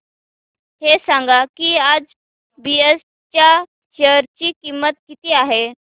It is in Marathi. हे सांगा की आज बीएसई च्या शेअर ची किंमत किती आहे